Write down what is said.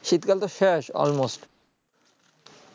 শীতকাল তো শেষ almost